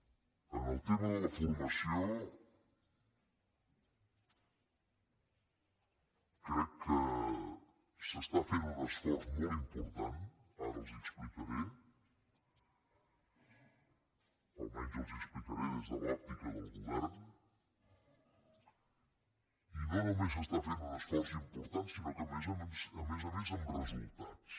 en el tema de la formació crec que s’està fent un esforç molt important ara els l’explicaré almenys els l’explicaré des de l’òptica del govern i no només s’està fent un esforç important sinó que a més a més amb resultats